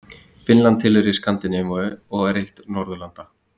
Finnland tilheyrir Skandinavíu og er eitt Norðurlanda.